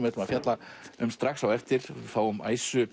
ætlum að fjalla um strax á eftir fáum